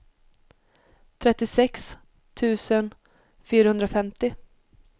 trettiosex tusen fyrahundrafemtio